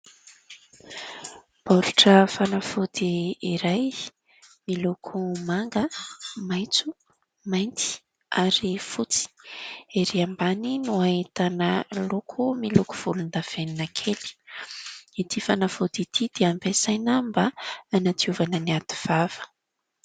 Baoritra fanafody iray miloko manga, maitso, mainty ary fotsy. Ery ambany no ahitana loko miloko volondavenina kely. Ity fanafody ity dia ampiasaina mba hanadiovana ny aty vava.